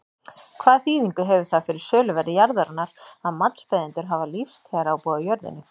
Hvaða þýðingu hefur það fyrir söluverð jarðarinnar að matsbeiðendur hafa lífstíðarábúð á jörðinni?